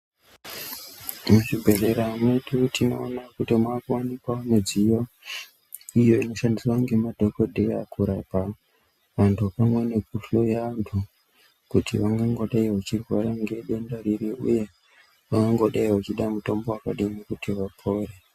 Muzvibhedhlera makutoita kuti makuwanikwawo midziyo iyo inoshandiswa nemadhokodheya kurapa vantu pamwe nekuhloya kuti vakangodai vachirwara nedenda riri uye vakangodai vachida mutombo uri kuti vapore.